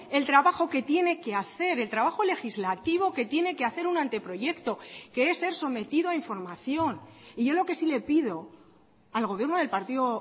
el trabajo que tiene que hacer el trabajo legislativo que tiene que hacer un anteproyecto que es ser sometido a información y yo lo que sí le pido al gobierno del partido